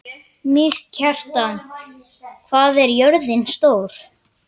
Mýrkjartan, hvað er jörðin stór?